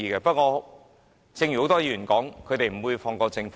不過，正如很多議員所說，他們不會放過政府。